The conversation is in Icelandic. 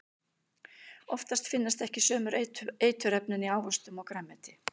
Oftast finnast ekki sömu eiturefnin í ávöxtum og grænmeti.